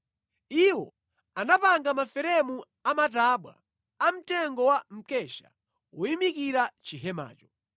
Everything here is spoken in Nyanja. Iwo anapanga maferemu amatabwa amtengo wa mkesha oyimikira chihemacho.